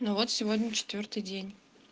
ну вот сегодня четвёртый день